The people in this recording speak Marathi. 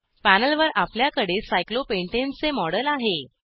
पॅनलवर आपल्याकडे सायक्लोपेंटाने चे मॉडेल आहे